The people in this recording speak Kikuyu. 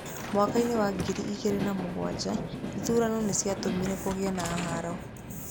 Mwaka-inĩ wa ngiri igĩrĩ na mũgwanja, ithurano nĩ ciatũmire kũgĩe na haaro.